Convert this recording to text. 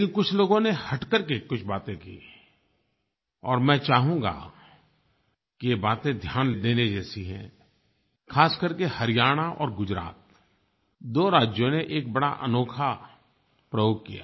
लेकिन कुछ लोगों ने हट करके कुछ बातें कीं और मैं चाहूँगा कि ये बातें ध्यान देने जैसी हैं ख़ासकरके हरियाणा और गुजरात दो राज्यों ने एक बड़ा अनोखा प्रयोग किया